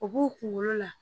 O b'u kunkolo la